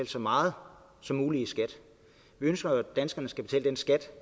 så meget som muligt i skat vi ønsker at danskerne skal betale den skat